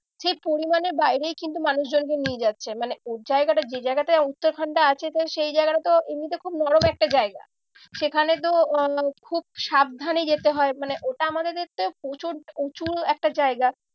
সে পরিমানের বাইরে কিন্তু মানুষজনকে নিয়ে যাচ্ছে। মানে ওর জায়গাটা যে জায়গাটায় উত্তরাখন্ডটা আছে তো সেই জায়গাটা তো এমনিতে খুব নরম একটা জায়গা। সেখানে তো আহ খুব সাবধানে যেতে হয় মানে ওটা আমাদের এতে প্রচুর উঁচু একটা জায়গা।